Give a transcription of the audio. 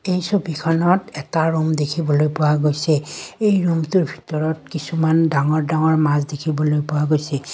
এই ছবিখনত এটা ৰুম দেখিবলৈ পোৱা গৈছে এই ৰুমটোৰ ভিতৰত কিছুমান ডাঙৰ ডাঙৰ মাছ দেখিবলৈ পোৱা গৈছে।